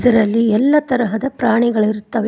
ಇದರಲ್ಲಿ ಎಲ್ಲ ತರದ ಪ್ರಾಣಿಗಳು ಇರುತ್ತವೆ.